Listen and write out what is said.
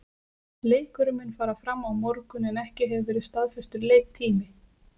Leikurinn mun fara fram á morgun en ekki hefur verið staðfestur leiktími.